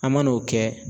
An man n'o kɛ